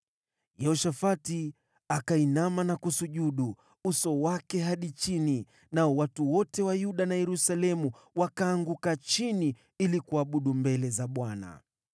Yehoshafati akainamisha uso wake chini, nao watu wote wa Yuda na Yerusalemu wakaanguka chini ili kuabudu mbele za Bwana .